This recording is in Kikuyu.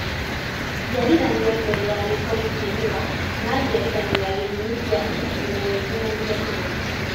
Njiarithanio mbere ya gĩkoni kũmĩra kana njiarithanio ya gĩthimi kĩa inji ĩmwe nginyagia inya